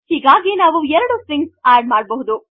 ಹೀಗಾಗಿ ನಾವು ಎರಡು stringsಆಡ್ ಮಾಡಬಹುದು